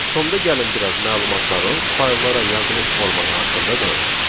Sonda gəlin biraz məlumatların fayllara yazılış formatı haqqında danışaq.